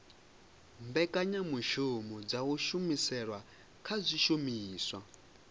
mbekanyamushumo dza kushumisele kwa zwishumiswa